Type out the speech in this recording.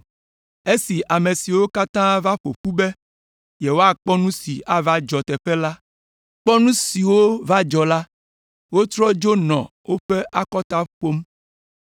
Esi ame siwo katã va ƒo ƒu be yewoakpɔ nu siwo ava dzɔ teƒe la kpɔ nu siwo va dzɔ la, wotrɔ dzo nɔ woƒe akɔta ƒom.